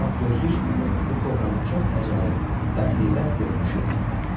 Ağgözlük adlanan bu kobranın çox əcaib, bədheybət görünüşü var idi.